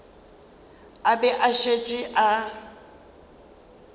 a be a šetše a